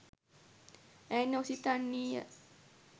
ඇය නොසිතන්නීය